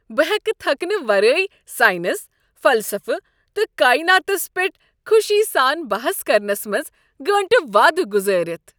بہٕ ہٮ۪کہٕ تھکنہٕ ورٲیے ساینس، فلسفہٕ تہٕ کایناتس پیٹھ خوشی سان بحث کرنس منٛز گٲنٛٹہٕ وادٕ گزارتھ۔